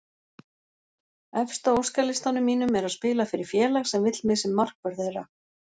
Efst á óskalistanum mínum er að spila fyrir félag sem vill mig sem markvörð þeirra.